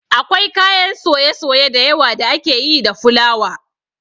Akwai kayan soye-soye dayawa da ake yi da fulawa